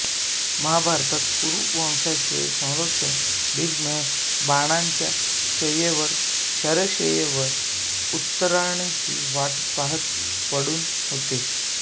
महाभारतात कुरु वंशाचे संरक्षक भीष्म हे बाणांच्या शय्येवर शरशय्येवर उत्तरायणाची वाट पहात पडून होते